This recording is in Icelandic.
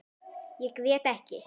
Ég grét ekki.